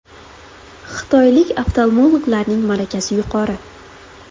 Xitoylik oftalmologlarning malakasi yuqori.